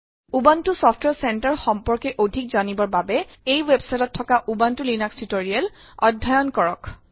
Ubuntu ছফটৱাৰে চেন্টাৰে ৰ সম্পৰ্কে অধিক জানিবৰ বাবে এই websiteত থকা উবুনটো লিনাস টিউটৰিয়েল অধ্যয়ণ কৰক